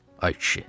Ay kişi.